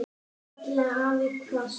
kallaði afi hvasst.